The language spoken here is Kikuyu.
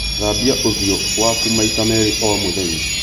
Thambia ũthiũ waku maita merĩ o mũthenya